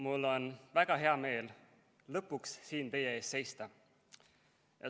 Mul on väga hea meel lõpuks siin teie ees seista.